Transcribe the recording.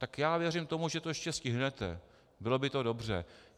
Tak já věřím tomu, že to ještě stihnete, bylo by to dobře.